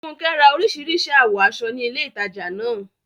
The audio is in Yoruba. Funke ra orísìírísìí àwọ̀ aṣọ ní ilé ìtajà náà.